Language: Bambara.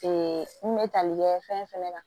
n kun bɛ tali kɛ fɛn fɛnɛ na